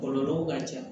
Kɔlɔlɔw ka ca